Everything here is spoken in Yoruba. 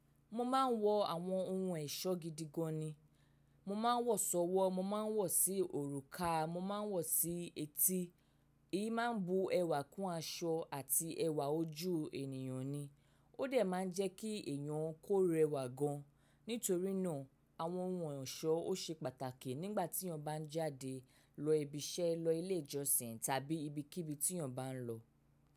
Mo máa ń wọ àwọn ohun ẹ̀ṣọ́ gidi gan ni. Mo máa ń wọ ṣọ́wọ́, mo máa ń wọ̀ sí òrùka, mo máa ń wọ̀ sí etí. Èyí máa ń bu ẹwà kún aṣọ àti ẹwà ojú ènìyàn ni. Ó dẹ̀ máa ń jẹ́ kí èèyàn kó rẹwà gan. Nítorí náà àwọn ohun ẹ̀ṣọ́ ó ṣe pàtàkì nígbà tí èèyàn bá ń jáde lọ ibi iṣẹ́, lọ ilé ìjọsìn tàbí ibi kí ibi tí èèyàn bá ń lọ.